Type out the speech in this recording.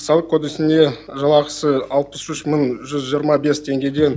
салық кодексінде жалақысы алпыс үш мың жүз жиырма бес теңгеден